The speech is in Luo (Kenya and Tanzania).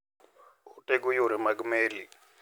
Otego yore mag meli.